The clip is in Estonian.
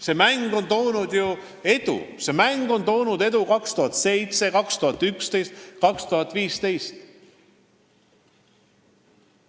See mäng on toonud ju edu, see mäng tõi edu 2007, 2011 ja 2015.